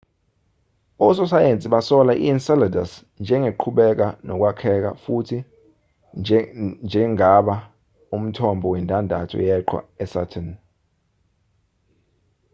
ososayensi basola i-enceladus njengeqhubeka nokwakheka futhi njengaba umthombo wendandatho yeqhwa yesaturn